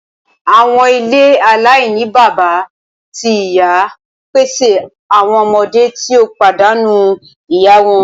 Awọn ile alainibaba ti iya n pese awọn ọmọde ti o padanu iya wọn.